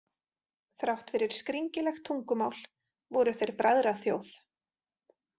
Þrátt fyrir skringilegt tungumál voru þeir bræðraþjóð.